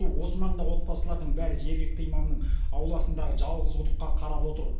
осы маңдағы отбасылардың бәрі жергілікті имамның ауласындағы жалғыз құдыққа қарап отыр